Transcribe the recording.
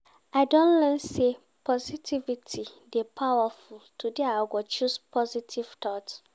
I don learn sey positivity dey powerful, today I go choose positive thoughts.